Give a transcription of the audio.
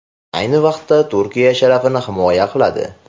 Ayni vaqtda Turkiya sharafini himoya qiladi.